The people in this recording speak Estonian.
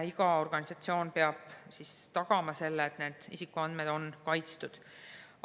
Iga organisatsioon peab tagama selle, et isikuandmed on kaitstud.